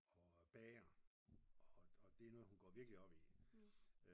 Og bager og det er noget hun går virkelig op i